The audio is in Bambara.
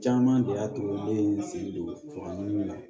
Caman de y'a to n ye n sen don a ɲini la